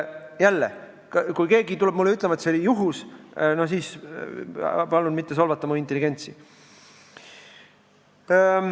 Jälle, kui keegi tuleb mulle ütlema, et see oli juhus, siis palun mitte solvata minu intelligentsi.